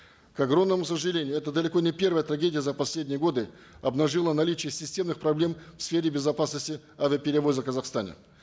к огромному сожалению эта далеко не первая трагедия за последние годы обнажила наличие системных проблем в сфере безопасности авиаперевозок в казахстане